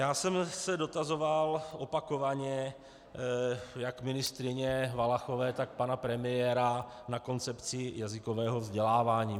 Já jsem se dotazoval opakovaně jak ministryně Valachové, tak pana premiéra na koncepci jazykového vzdělávání.